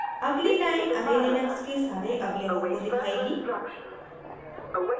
अगली line array Linux के सारे अवयवों को दिखाएगी